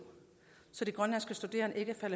er